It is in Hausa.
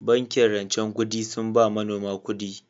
Bankin rancen kudi sun ba manomi kudi